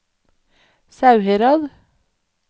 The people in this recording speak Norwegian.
Sauherad